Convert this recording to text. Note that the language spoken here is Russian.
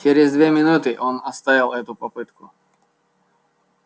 через две минуты он оставил эту попытку